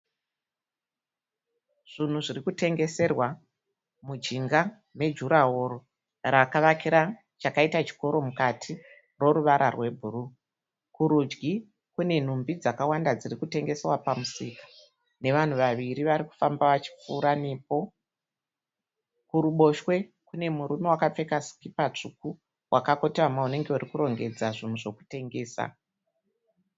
Zvinhu zviri kutengeswera munjinga me durawall rakavakira chakaita chikoro mukati chine ruvara rwe buruu. Kurudyi kune nhumbi dzakwanda dziri kutengeswa pamusika nevanhu vaviri vari kufamba vachi kupfuura nepo. Kuri boshwe kune murume akapfeka skipa tsvuku akakotama ari kuratidza kuti ari kurongedza zvinhu zvekutengesa.